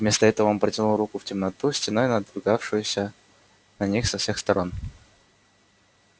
вместо этого он протянул руку в темноту стеной надвигавшуюся на них со всех сторон